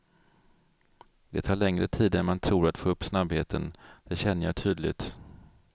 Det tar längre tid än man tror att få upp snabbheten, det känner jag tydligt.